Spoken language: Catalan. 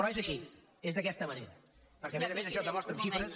però és així és d’aquesta manera perquè a més a més això es demostra amb xifres